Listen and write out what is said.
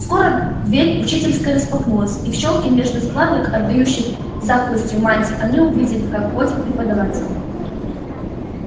скоро дверь учительской распахнулась и в щёлки между складок отдающих затхлостью мантий они увидели как входят преподаватели